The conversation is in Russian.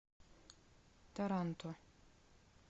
таранто